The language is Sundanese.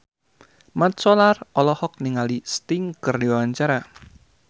Mat Solar olohok ningali Sting keur diwawancara